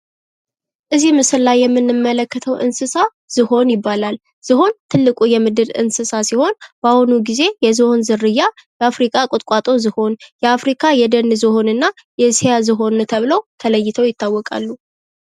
ከዚህ ምስል ላይ የምንመለከተው እንስሳት ዝሆን ይባላል። ዝሆን የምድር ትልቁ እንስሳት ሲሆን ዝሆን በአሁኑ ጊዜ የዝሆን ዝርያ የአፍሪካ ቁጥቋጦ ዝሆን ፣የአፍሪካ የደን ዝሆን ና የኢሲያ ዝሆን ተብለው ተለይተው ይታወቃሉ።